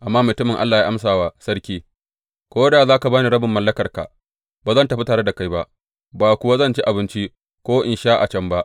Amma mutumin Allah ya amsa wa sarki, Ko da za ka ba rabin mallakarka, ba zan tafi tare da kai ba, ba kuwa zan ci abinci, ko in sha ruwa a can ba.